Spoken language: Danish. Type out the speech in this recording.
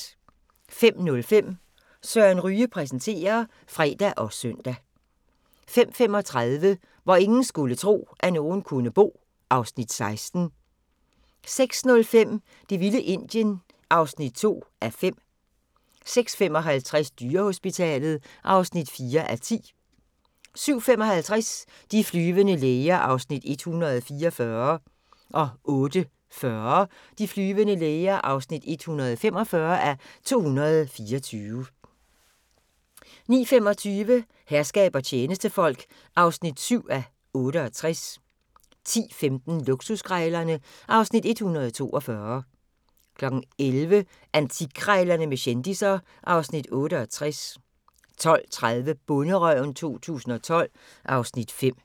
05:05: Søren Ryge præsenterer (fre og søn) 05:35: Hvor ingen skulle tro, at nogen kunne bo (Afs. 16) 06:05: Det vilde Indien (2:5) 06:55: Dyrehospitalet (4:10) 07:55: De flyvende læger (144:224) 08:40: De flyvende læger (145:224) 09:25: Herskab og tjenestefolk (7:68) 10:15: Luksuskrejlerne (Afs. 142) 11:00: Antikkrejlerne med kendisser (Afs. 68) 12:30: Bonderøven 2012 (Afs. 5)